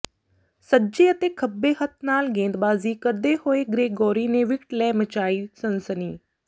ਸੱਜੇ ਅਤੇ ਖੱਬੇ ਹੱਥ ਨਾਲ ਗੇਂਦਬਾਜ਼ੀ ਕਰਦੇ ਹੋਏ ਗ੍ਰੇਗੋਰੀ ਨੇ ਵਿਕਟ ਲੈ ਮਚਾਈ ਸਨਸਨੀ